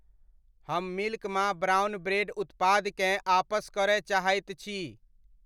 हम मिल्क मा brown bread उत्पादकेँ आपस करय चाहैत छी।